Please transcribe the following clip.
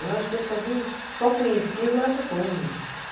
Eu acho que eu só vi o, só conheci o lado bom mesmo.